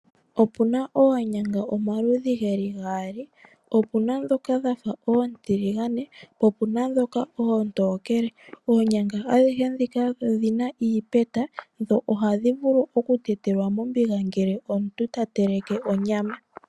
Opuna oonyanga omaludhi geli gaali, opuna dhoka dhafa oontiligane po opuna dhoka oontokele .oonyanga adhihe dhika odhina iipeta dho ohadhi vulu okutetelwa mombiga ngele omuntu tateleke onyama.